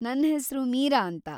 ನನ್ ಹೆಸ್ರು ಮೀರಾ ಅಂತ.